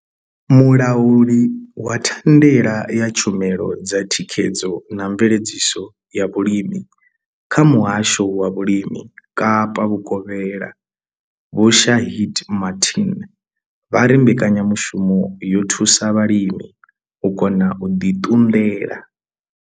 Mulauli wa thandela ya tshumelo dza thikhedzo na mveledziso ya vhulimi kha muhasho wa vhulimi Kapa vhukovhela Vho Shaheed Martin vha ri mbekanyamushumo yo thusa vhalimi u kona u ḓi ṱunḓela.